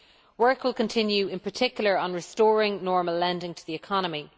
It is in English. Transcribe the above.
Work will continue, in particular, on restoring normal lending to the economy.